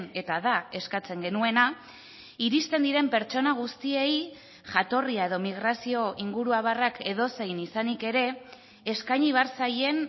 eta da eskatzen genuena iristen diren pertsona guztiei jatorria edo migrazio inguruabarrak edozein izanik ere eskaini behar zaien